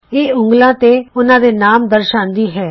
ਇਹ ਉਂਗਲਾਂ ਤੇ ਉਹਨਾਂ ਦੇ ਨਾਮ ਦਰਸਾਂਦੀ ਹੈ